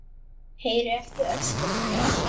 Heyri ekki öskur hans.